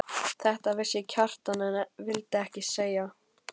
Þetta vissi Kjartan en vildi ekki skilja.